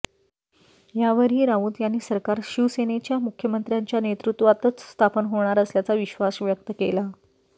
यावरही राऊत यांनी सरकार शिवसेनेच्या मुख्यमंत्र्याच्या नेतृत्वातच स्थापन होणार असल्याचा विश्वास व्यक्त केला